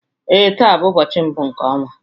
Ee, taa bụ ụbọchị mbụ nke ọnwa